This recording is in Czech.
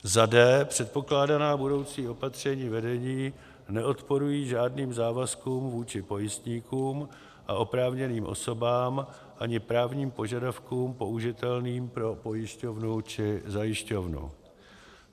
d) předpokládaná budoucí opatření vedení neodporují žádným závazkům vůči pojistníkům a oprávněným osobám ani právním požadavkům použitelným pro pojišťovnu či zajišťovnu;